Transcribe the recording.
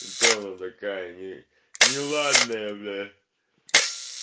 кто она такая не неладная бля